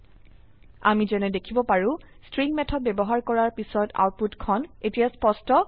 আমি যেনে দেখিব পাৰো স্ট্ৰিং মেথড ব্যবহাৰ কৰাৰ পিছত আউটপুটখন এতিয়া স্পষ্ট হৈছে